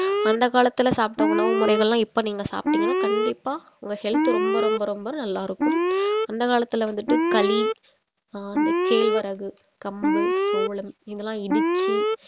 அந்த காலத்துல சாப்பிட்ட உணவு முறைகள்லாம் இப்ப நீங்க சாப்டீங்கன்னா கண்டிப்பா உங்க health ரொம்ப ரொம்ப ரொம்ப நல்லா இருக்கும் அந்த காலத்துல வந்துட்டு கலி ஆஹ் அந்த கேழ்வரகு கம்பு சோளம் இதெல்லாம் இடிச்சு